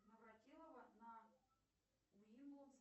навратилова на уилоус